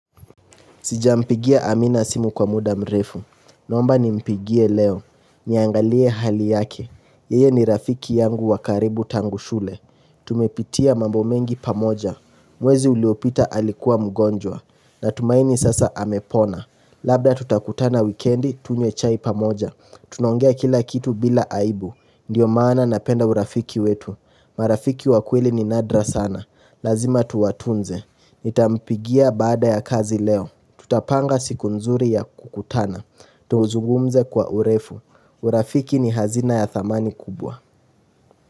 Sijampigia Amina simu kwa muda mrefu. Naomba nimpigie leo. Niangalie hali yake. Yeye ni rafiki yangu wakaribu tangu shule. Tumepitia mambo mengi pamoja. Mwezi uliopita alikuwa mgonjwa. Natumaini sasa amepona. Labda tutakutana wikendi tunywe chai pamoja. Tunaongea kila kitu bila aibu. Ndio maana napenda urafiki wetu. Marafiki wa kweli ni nadra sana. Lazima tuwatunze. Nitampigia baada ya kazi leo Tutapanga siku nzuri ya kukutana Tuzugumze kwa urefu urafiki ni hazina ya thamani kubwa.